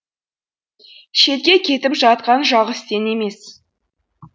шетке кетіп жатқан жалғыз сен емес